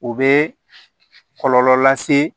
U bɛ kɔlɔlɔ lase